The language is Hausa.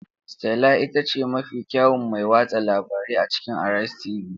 Stella ita ce mafi kyawun mai watsa labarai a cikin Arise tv.